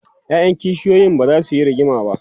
ƴaƴan kishiyoyin bazasu Yi rigima ba